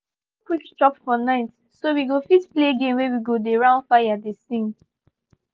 we no quick chop for night so we go fit play game wey we go dey round fire dey sing